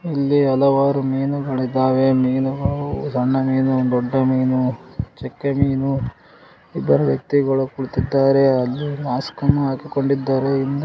ಇಲ್ಲಿ ಹಲವಾರು ಮೀನುಗಳಿದಾವೆ ಮೀನುಗಳು ಸಣ್ಣ ಮೀನು ದೊಡ್ಡ ಮೀನು ಚಕ್ಕೆ ಮೀನು ಇಬ್ಬರು ವ್ಯಕ್ತಿಗಳು ಕುಳಿತಿದ್ದಾರೆ ಅಲ್ಲಿ ಮಾಸ್ಕನ್ನು ಹಾಕಿಕೊಂಡಿದ್ದಾರೆ .